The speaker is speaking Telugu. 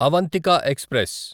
అవంతిక ఎక్స్ప్రెస్